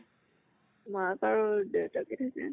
মাক আৰু দেউতাকে থাকে।